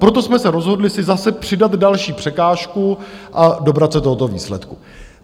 Proto jsme se rozhodli si zase přidat další překážku a dobrat se tohoto výsledku.